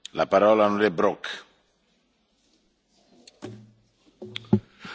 Herr Präsident, Herr Präsident des Europäischen Rates, Herr Kommissionspräsident, Kolleginnen und Kollegen!